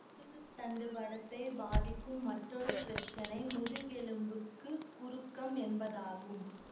முதுகுத் தண்டு வடத்தை பாதிக்கும் மற்றொரு பிரச்சினை முதுகெலும்புக்கு குறுக்கம் என்பதாகும்